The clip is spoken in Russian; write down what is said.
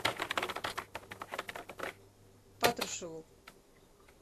патрушеву